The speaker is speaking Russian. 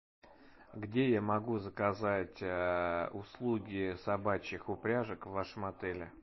где я могу заказать услуги собачьих упряжек в вашем отеле